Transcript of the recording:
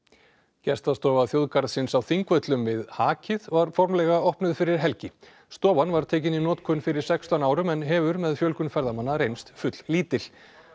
gestastofa þjóðgarðsins á Þingvöllum við hakið var formlega opnuð fyrir helgi stofan var tekin í notkun fyrir sextán árum en hefur með fjölgun ferðamanna reynst fulllítil